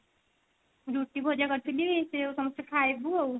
ରୁଟି ଭଜା କରିଥିଲି ସେଇୟାକୁ ସମସ୍ତେ ଖାଇବୁ ଆଉ